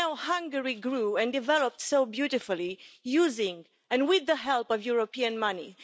Hungary grew and developed so beautifully using and with the help of European money.